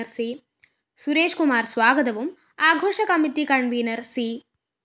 സുരേഷ് കുമാര്‍ സ്വാഗതവും ആഘോഷ committee convener‍ C